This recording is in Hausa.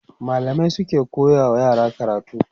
mallamai suke koya wa yara karatu